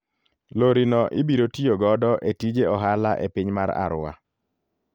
Lori no ibiro tiyo godo e tije ohala e piny mar Arua.